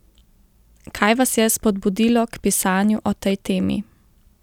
Kaj vas je spodbudilo k pisanju o tej temi?